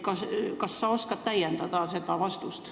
Kas sa oskad tema vastust täiendada?